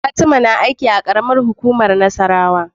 Fatima na aiki a karamar hukumar nassarawa